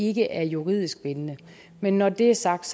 ikke er juridisk bindende men når det er sagt